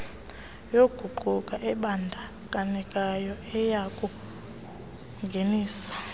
yoguqulo ebandakanyekayo iyakungenisa